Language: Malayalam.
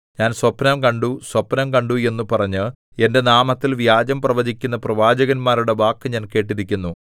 ഞാൻ സ്വപ്നം കണ്ടു സ്വപ്നം കണ്ടു എന്നു പറഞ്ഞ് എന്റെ നാമത്തിൽ വ്യാജം പ്രവചിക്കുന്ന പ്രവാചകന്മാരുടെ വാക്ക് ഞാൻ കേട്ടിരിക്കുന്നു